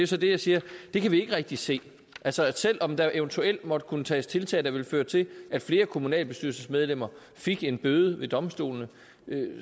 så jeg siger at det kan vi ikke rigtig se altså selv om der eventuelt måtte kunne tages tiltag der ville føre til at flere kommunalbestyrelsesmedlemmer fik en bøde ved domstolene